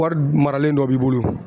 Wari maralen dɔ b'i bolo